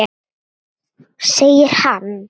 Segir hann.